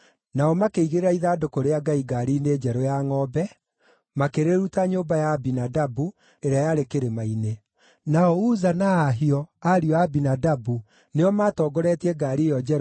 Nao makĩigĩrĩra ithandũkũ rĩa Ngai ngaari-inĩ njerũ ya ngʼombe, makĩrĩruta nyũmba ya Abinadabu, ĩrĩa yarĩ kĩrĩma-inĩ. Nao Uza na Ahio, ariũ a Abinadabu, nĩo maatongoretie ngaari ĩyo njerũ